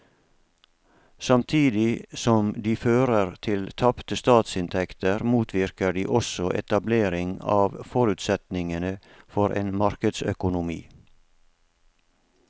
Samtidig som de fører til tapte statsinntekter motvirker de også etablering av forutsetningene for en markedsøkonomi.